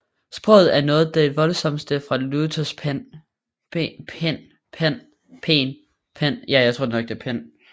Sproget er noget af det voldsomste fra Luthers pen